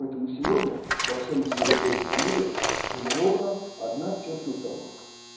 поэтому сегодня во всём цивилизованном мире сформирована одна чёткая установка